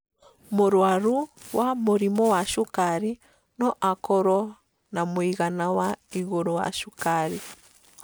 Mũrwaru wa mũrimũ wa cukari no akorwo na mũigana wa igũrũ wa cukari.